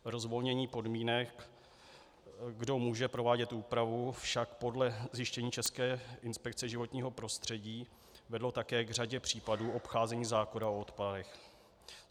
Rozvolnění podmínek, kdo může provádět úpravu, však podle zjištění České inspekce životního prostředí vedlo také k řadě případů obcházení zákona o odpadech.